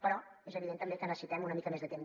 però és evident també que necessitem una mica més de temps